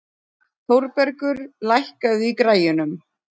Þórbergur, lækkaðu í græjunum.